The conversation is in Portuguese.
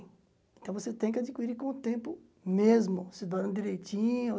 Então você tem que adquirir com o tempo mesmo, se doando direitinho.